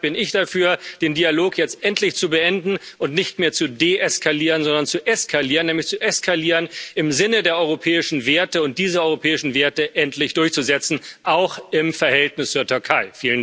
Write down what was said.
Deshalb bin ich dafür, den Dialog jetzt endlich zu beenden und nicht mehr zu deeskalieren, sondern zu eskalieren, nämlich zu eskalieren im Sinne der europäischen Werte, und diese europäischen Werte endlich durchzusetzen auch im Verhältnis zur Türkei.